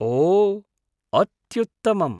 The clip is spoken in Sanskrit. ओ, अत्युत्तमम्।